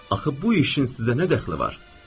Axı bu işin sizə nə dəxli var?